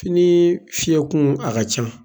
Fini fiɲɛkun a ka ca.